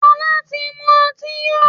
Fola tí mú ọtí yó.